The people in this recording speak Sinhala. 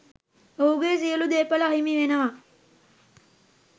ඔහුගේ සියලු දේපල අහිමි වෙනවා.